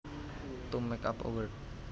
To make up a word